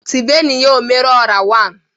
Tibenu ya "Omeru ọra wan"!